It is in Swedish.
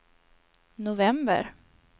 november